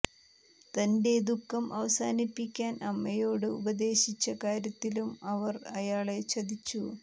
തൻറെ ദുഃഖം അവസാനിപ്പിക്കാൻ അമ്മയോട് ഉപദേശിച്ച കാര്യത്തിലും അവൻ അയാളെ ചതിച്ചു